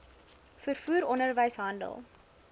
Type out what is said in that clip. vervoer onderwys handel